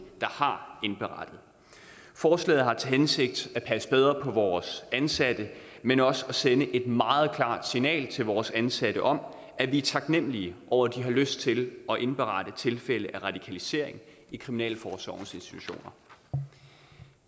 har indberettet forslaget har til hensigt at passe bedre på vores ansatte men også at sende et meget klart signal til vores ansatte om at vi er taknemlige over at de har lyst til at indberette tilfælde af radikalisering i kriminalforsorgens institutioner